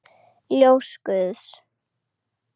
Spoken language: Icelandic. Ljós guðs.